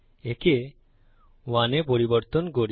একে 1 এ পরিবর্তন করি